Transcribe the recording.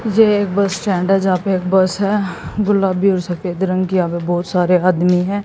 यह एक bus stand हैं जहां पे एक बस है गुलाबी और सफेद रंग की यहां पे बहुत सारे आदमी है।